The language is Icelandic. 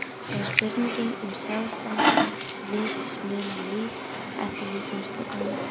Það er spurningin um sjálfstætt vitsmunalíf eftir líkamsdauðann.